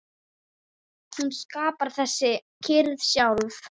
Hún skapar þessa kyrrð sjálf.